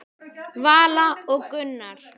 Vala og Gunnar.